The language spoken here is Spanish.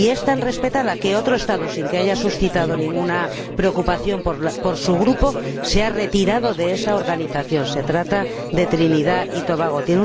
Y es tan respetada que otro Estado, sin que haya suscitado ninguna preocupación a su Grupo, se ha retirado de esa organización se trata de Trinidad y Tobago.